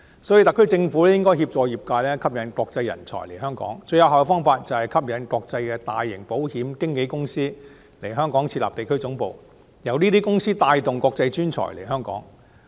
所以，特區政府應該協助業界，吸引國際人才來港，最有效的方法就是吸引國際大型保險經紀公司來港設立地區總部，由這些公司帶動國際專才來港。